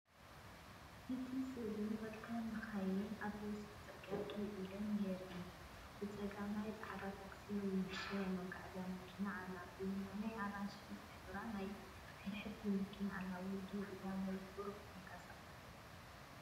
እቲ ስእሊ ክልተ መካይን ኣብ ወሰን ጽርግያ ደው ኢለን የርኢ። ብጸጋም ጻዕዳ ታክሲ ወይ ንእሽቶ ናይ መጓዓዝያ መኪና ኣላ። ብየማን ኣራንሺ ዝሕብራ ናይ ብሕቲ መኪና ኣላ፡ ወይ ደው ኢላ ወይ ቁሩብ ተንቀሳቒሳ።